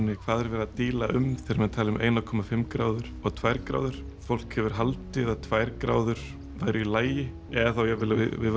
hvað er verið að díla um þegar menn tala um eina komma fimm gráður og tvær gráður fólk hefur haldið að tvær gráður væru í lagi eða þá jafnvel að við